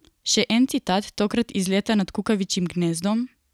Še en citat, tokrat iz Leta nad kukavičjim gnezdom?